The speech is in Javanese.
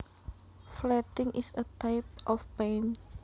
Flatting is a type of paint